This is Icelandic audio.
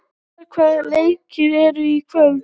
Vestar, hvaða leikir eru í kvöld?